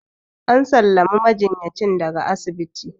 an sallami majinyacin daga asibiti